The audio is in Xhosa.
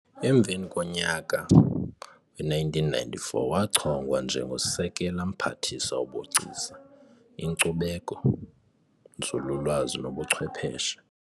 Emveni konyaka we-1994, wachongwa nje ngosekela Mphathiswa wobugcisa, inkcubeko, nzululwazi nobuchwepheshe.